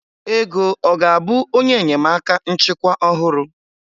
Ego ọ ga-abụ onye enyemaka nchịkwa ọhụrụ?